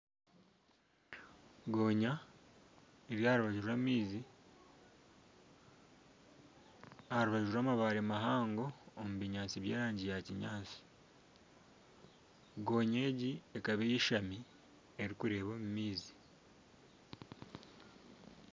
Ngonya eri aha rubaju rw'amaizi aha rubaju rw'amabaare mahango omu binyaatsi by'erangi ya kinyaatsi ngonya egi ekaba eyeeshami erikureeba omu maizi.